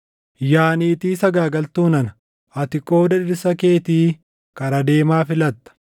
“ ‘Yaa niitii sagaagaltuu nana! Ati qooda dhirsa keetii kara deemaa filatta!